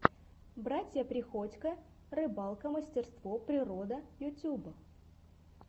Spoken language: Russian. братья приходько рыбалка мастерство природа ютюб